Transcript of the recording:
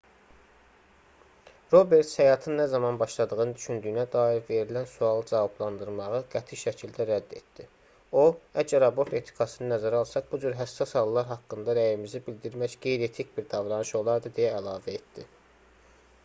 roberts həyatın nə zaman başladığını düşündüyünə dair verilən sualı cavablandırmağı qəti şəkildə rədd etdi o əgər abort etikasını nəzərə alsaq bu cür həssas hallar haqqında rəyimizi bidirmək qeyri-etik bir davranış olardı deyə əlavə etdi